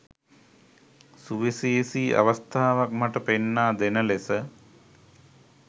සුවිශේෂී අවස්ථාවක් මට පෙන්නා දෙන ලෙස